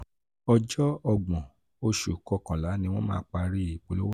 ọjọ́ ọgbọn oṣù kọkànlá ni wọ́n máa parí ìpolówó náà.